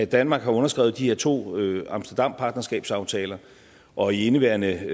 danmark har underskrevet de her to amsterdampartnerskabsaftaler og i indeværende